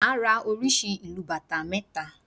Màá ra oríṣi ìlù bàtá mẹ́ta